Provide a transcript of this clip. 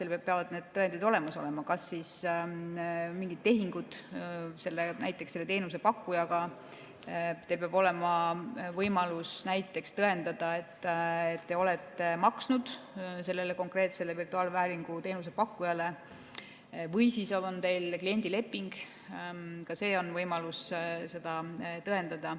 Jah, teil peavad need tõendid olemas olema, kas siis mingid tehingud näiteks selle teenusepakkujaga, teil peab olema võimalus näiteks tõendada, et te olete maksnud sellele konkreetsele virtuaalvääringu teenuse pakkujale, või on teil kliendileping, ka see on võimalus seda tõendada.